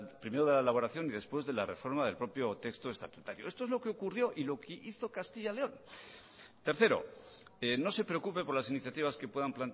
primero de la elaboración y después de la reforma del propio texto estatutario esto es lo que ocurrió y lo que hizo castilla león tercero no se preocupe por las iniciativas que puedan